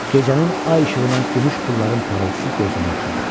Gecənin ay işığına gümüş pulların parıltısı gözümü oxşadı.